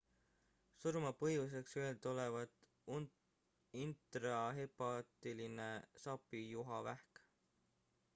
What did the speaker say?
surmapõhjuseks öeldi olevat intrahepaatiline sapijuhavähk